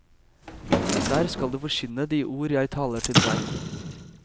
Der skal du forkynne de ord jeg taler til deg.